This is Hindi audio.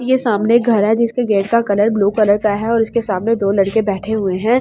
ये सामने घर है जिसका गेट का कलर ब्ल्यू कलर का है और इसके सामने दो लड़के बैठे हुए है और।